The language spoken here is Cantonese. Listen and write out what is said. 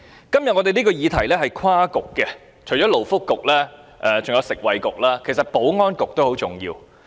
今天這個議題涉及多個政策局，除了勞工及福利局，還有食物及衞生局，但其實保安局也很重要。